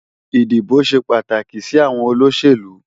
Idibó ṣé pàtáki si áwòn ólóṣélú